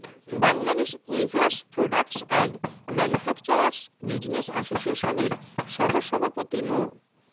Bangladesh weavers products and manufacturers business অ্যাসোসিয়েশনের সহসভাপতি মো